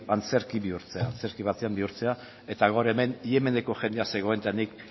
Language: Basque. antzerki bihurtzea antzerki batean bihurtzea eta gaur hemen yemeneko jendea zegoen eta nik